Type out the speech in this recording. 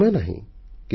ଆଜି ସମୟ ନାହିଁ